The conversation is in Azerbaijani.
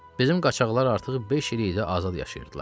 Bizim qaçaqlar artıq beş ildir azad yaşayırdılar.